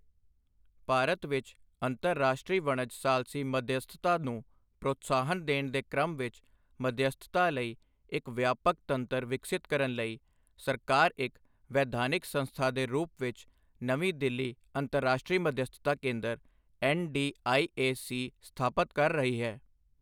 ਭਾਰਤ ਵਿੱਚ ਅੰਤਰਰਾਸ਼ਟਰੀ ਵਣਜ ਸਾਲਸੀ ਮਧਿਅਸਥਤਾ ਨੂੰ ਪ੍ਰੋਤਸਾਹਨ ਦੇਣ ਦੇ ਕ੍ਰਮ ਵਿੱਚ ਮਧਿਅਸਥਤਾ ਲਈ ਇੱਕ ਵਿਆਪਕ ਤੰਤਰ ਵਿਕਸਿਤ ਕਰਨ ਲਈ ਸਰਕਾਰ ਇੱਕ ਵੈਧਾਨਿਕ ਸੰਸਥਾ ਦੇ ਰੂਪ ਵਿੱਚ ਨਵੀਂ ਦਿੱਲੀ ਅੰਤਰਰਾਸ਼ਟਰੀ ਮਧਿਅਸਥਤਾ ਕੇਂਦਰ ਐੱਨਡੀਆਈਏਸੀ ਸਥਾਪਤ ਕਰ ਰਹੀ ਹੈ।